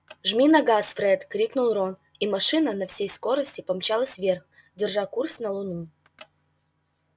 жми на газ фред крикнул рон и машина на всей скорости помчалась вверх держа курс на луну